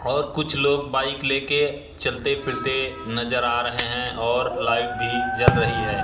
और कुछ लोग बाइक ले के चलते फिरते नजर आ रहे हैं और लाइट भी जल रही है।